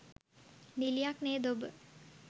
නිළියක් නේද ඔබ?